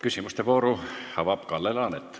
Küsimuste vooru avab Kalle Laanet.